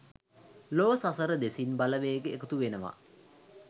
ලොව සතර දෙසින් බලවේග එකතු වෙනවා